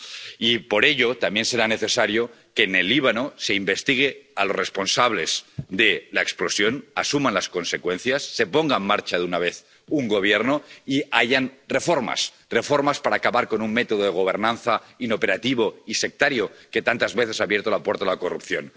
Y por ello, también será necesario que en el Líbano se investigue a los responsables de la explosión, que asuman las consecuencias, se ponga en marcha de una vez un Gobierno y haya reformas. Reformas para acabar con un método de gobernanza inoperativo y sectario, que tantas veces ha abierto la puerta a la corrupción.